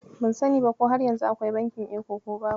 Ban sani ba ko har yanzu akwai bankin Eco ko babu.